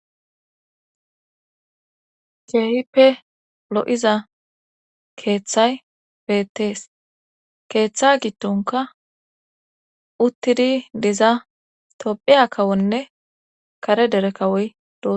keehipe lo7iza keeththay beettees keeththa gittonka uttidi diza tophiya kawonne kare dere kawoy d